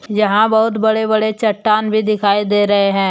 यहां बहुत बड़े बड़े चट्टान भी दिखाई दे रहे हैं।